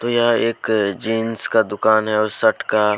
यह एक जींस का दुकान है।